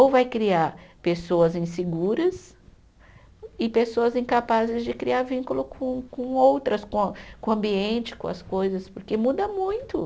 Ou vai criar pessoas inseguras e pessoas incapazes de criar vínculo com com outras, com a, com o ambiente, com as coisas, porque muda muito.